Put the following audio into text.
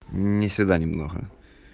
не сюда немного